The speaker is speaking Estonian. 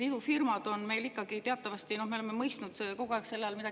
Idufirmad – me oleme selle all kogu aeg midagi muud.